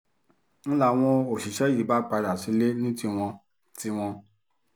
n láwọn òṣìṣẹ́ yìí bá padà sílé ní tiwọn tiwọn